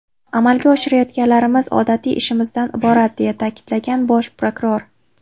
Amalga oshirayotganlarimiz odatiy ishimizdan iborat”, deya ta’kidlagan bosh prokuror.